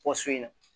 Pɔsɔn in na